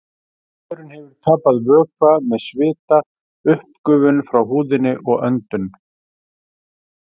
Maðurinn hefur tapað vökva með svita, uppgufun frá húðinni og öndun.